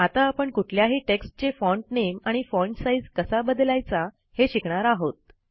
आता आपण कुठल्याही टेक्स्टचे फॉन्ट नामे आणि फॉन्ट साइझ कसा बदलायचा हे शिकणार आहोत